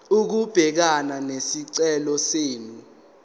ukubhekana nesicelo senu